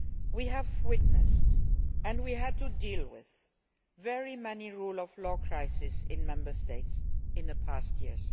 We have witnessed and we had to deal with very many rule of law crises in Member States in the past years.